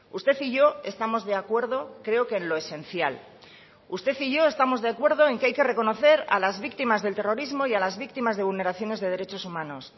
usted y yo estamos de acuerdo creo que en lo esencial usted y yo estamos de acuerdo en que hay que reconocer a las víctimas del terrorismo y las víctimas de vulneraciones de derechos humanos